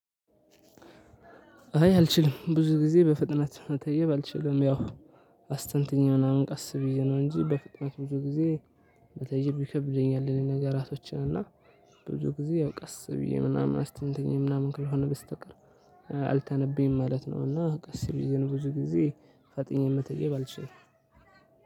አይ አልችልም። ብዙ ጊዜ በፍጥነት መተየብ አልችልም ያው አስተንትኜ ምናምን ቀስ ብዬ ነው እንጂ በፍጥነት ብዙ ጊዜ መተየብ ይከብደኛል ነገራቶችን እና ብዙ ጊዜ ያው ቀስ ብዬ ምናምን አስተንትኜ ምናምን ካልሆነ በስተቀር አልተነብይም ማለት ነው እና ቀስ ብዬ ነው ብዙ ጊዜ ፈጥኜ መተየብ አልችልም።